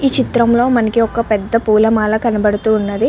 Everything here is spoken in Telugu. ఈ చిత్రంలో మనకి ఒక పెద్ద పూల మాల కనబడుతూ ఉన్నది.